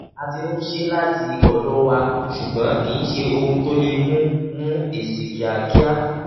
a ti ń ṣe láti ọ̀dọ̀ wa ṣùgbọ́n kìí ṣe ohun tó lè mú mú èsì kíákíá.